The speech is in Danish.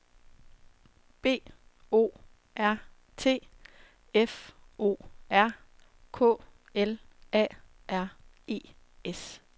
B O R T F O R K L A R E S